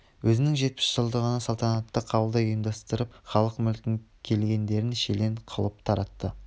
өзінің жетпіс жылдығында салтанатты қабылдау ұйымдастырып халық мүлкін келгендерге шүлен қылып таратты